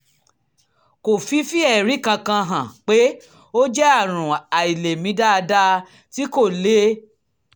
kò fi fi ẹ̀rí kankan hàn pé ó jẹ́ àrùn àìlèmí dáadáa tí kò le